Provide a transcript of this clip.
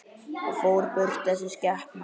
Og fór burt, þessi skepna.